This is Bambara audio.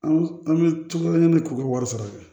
An an bɛ cogo di k'u ka wari sara